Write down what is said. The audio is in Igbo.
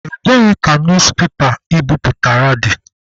Ebee ka newspepa I biputere dị?